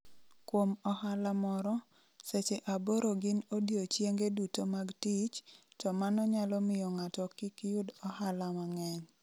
Kuom ohala moro, seche aboro gin odiechienge duto mag tich, to mano nyalo miyo ng'ato kik yud ohala mang'eny.